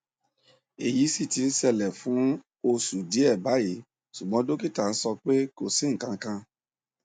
eyí si ti ń ṣẹlẹ fún oṣù díẹ báyìí ṣùgbọn dókítà nso pé kò sí nǹkankan